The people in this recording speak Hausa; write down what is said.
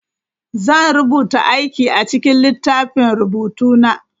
Zan rubuta aikin a cikin littafin rubutu na.